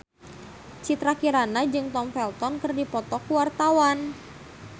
Citra Kirana jeung Tom Felton keur dipoto ku wartawan